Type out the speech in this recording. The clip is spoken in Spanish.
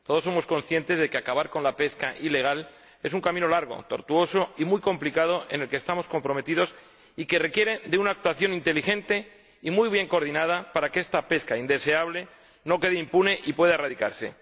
Todos somos conscientes de que acabar con la pesca ilegal es un camino largo, tortuoso y muy complicado, en el que estamos comprometidos y que requiere una actuación inteligente y muy bien coordinada para que esta pesca indeseable no quede impune y pueda erradicarse.